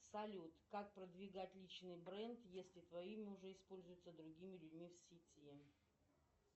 салют как продвигать личный бренд если твое имя уже используется другими людьми в сети